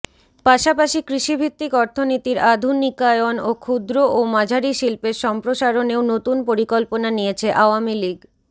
পাশাপাশি কৃষিভিত্তিক অর্থনীতির আধুনিকায়ন ও ক্ষুদ্র ও মাঝারি শিল্পের সম্প্রসারনেও নতুন পরিকল্পনা নিয়েছে আওয়ামী লীগ